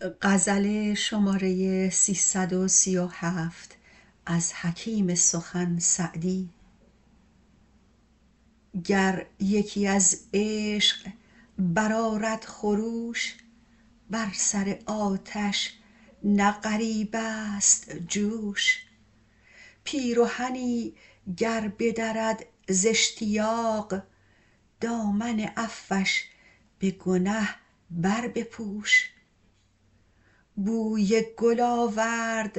گر یکی از عشق برآرد خروش بر سر آتش نه غریب است جوش پیرهنی گر بدرد زاشتیاق دامن عفوش به گنه بربپوش بوی گل آورد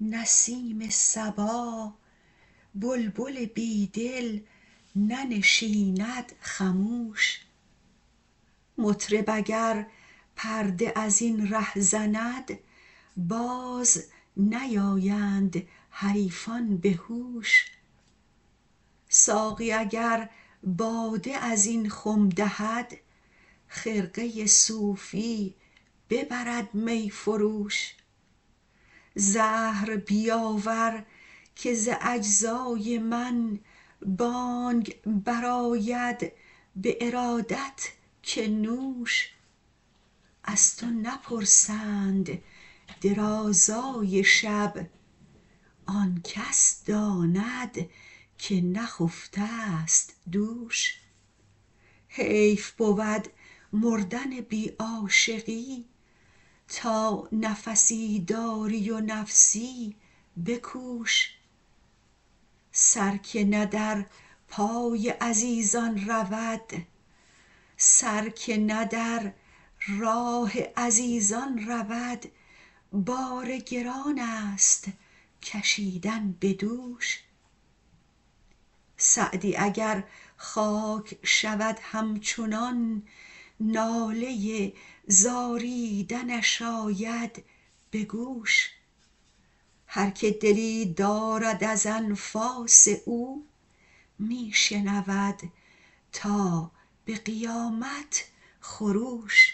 نسیم صبا بلبل بی دل ننشیند خموش مطرب اگر پرده از این ره زند باز نیایند حریفان به هوش ساقی اگر باده از این خم دهد خرقه صوفی ببرد می فروش زهر بیاور که ز اجزای من بانگ برآید به ارادت که نوش از تو نپرسند درازای شب آن کس داند که نخفته ست دوش حیف بود مردن بی عاشقی تا نفسی داری و نفسی بکوش سر که نه در راه عزیزان رود بار گران است کشیدن به دوش سعدی اگر خاک شود همچنان ناله زاریدنش آید به گوش هر که دلی دارد از انفاس او می شنود تا به قیامت خروش